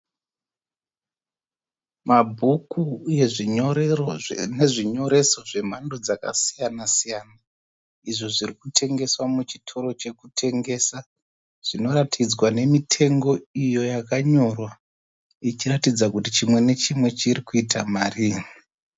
Mabhuku uye nezvinyoreso zvemhando dzakasiyana-siyana Izvo zviri kutengeswa muchitoro chekutengesa zvinoratidzwa nemitengo iyo yakanyorwa ichiratidza kuti chimwe nechimwe chiri kuita marii.